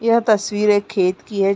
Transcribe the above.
यह तस्वीर एक खेत की है।